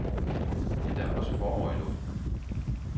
Men der er også forår i luften.